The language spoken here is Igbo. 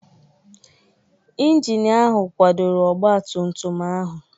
Injin ahụ kwadoro ọgba tum tum ahụ.